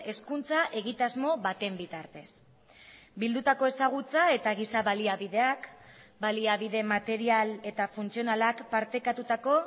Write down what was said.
hezkuntza egitasmo baten bitartez bildutako ezagutza eta giza baliabideak baliabide material eta funtzionalak partekatutako